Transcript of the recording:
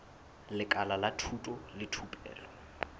lekala la thuto le thupelo